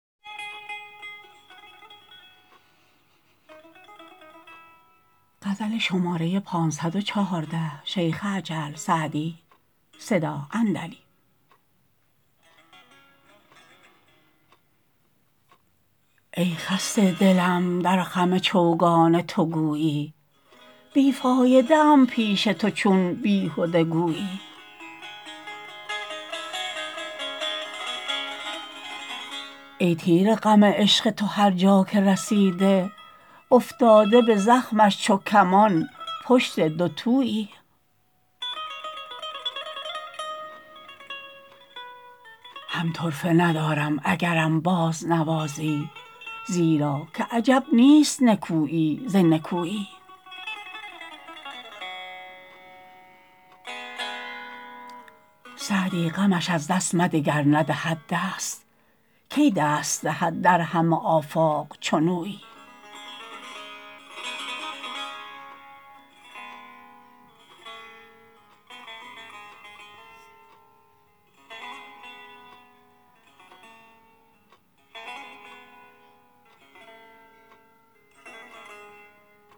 ای خسته دلم در خم چوگان تو گویی بی فایده ام پیش تو چون بیهده گویی ای تیر غم عشق تو هر جا که رسیده افتاده به زخمش چو کمان پشت دوتویی هم طرفه ندارم اگرم بازنوازی زیرا که عجب نیست نکویی ز نکویی سعدی غمش از دست مده گر ندهد دست کی دست دهد در همه آفاق چنویی